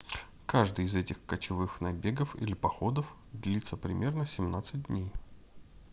каждый из этих кочевых набегов или походов длится примерно 17 дней